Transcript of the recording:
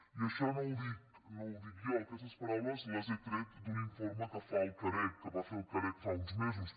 i ai·xò no ho dic jo aquestes paraules les he tret d’un in·forme que fa el carec que va fer el carec fa uns mesos